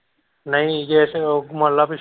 ਨਹੀਂ ਜੇ ਤੂੰ ਮੰਨ ਲੈ ਵੀ।